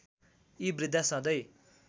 यी वृद्घा सधैं